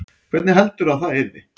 Hvernig heldurðu að það yrði?